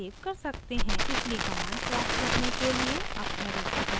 पिछली command प्राप्त करने के लिए अप arrow की दबाएं